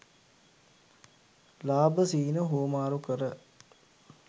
ලාභ සිහින හුවමාරු කර